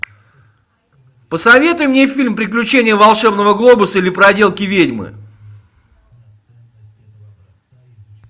посоветуй мне фильм приключения волшебного глобуса или проделки ведьмы